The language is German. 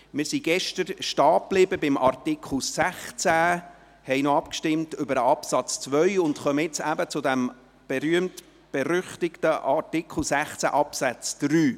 Wir sind gestern bei Artikel 16 verblieben, haben noch über den Absatz 2 abgestimmt und kommen nun zum berühmt-berüchtigten Artikel 16 Absatz 3.